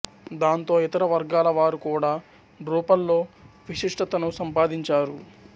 దాంతో ఇతర వర్గాల వారు కూడా డ్రూపల్లో విశిష్టతను సంపాదించారు